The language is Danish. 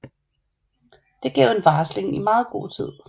Det gav en varsling i meget god tid